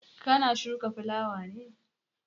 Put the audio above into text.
Ka na shuka fulawa ne?